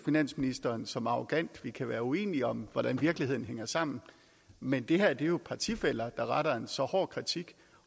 finansministeren som arrogant vi kan være uenige om hvordan virkeligheden hænger sammen men det her er jo partifæller der retter en så hård kritik